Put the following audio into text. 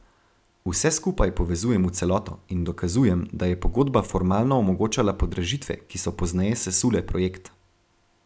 Vse skupaj povezujem v celoto in dokazujem, da je pogodba formalno omogočala podražitve, ki so pozneje sesule projekt.